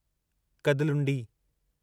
Kadalundi